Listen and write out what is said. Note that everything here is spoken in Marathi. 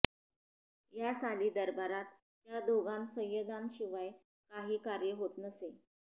या साली दरबारांत त्या दोघा सय्यदांशिवाय काही कार्य होत नसें